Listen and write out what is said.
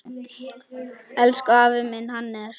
Elsku afi minn, Hannes.